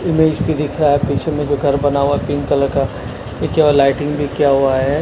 Image भी दिख रहा है पीछे में जो घर बना हुआ पिंक कलर का ये लाइटिंग भी किया हुआ है।